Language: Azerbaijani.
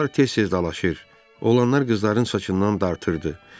Onlar tez-tez dalaşır, oğlanlar qızların saçından dartırdı.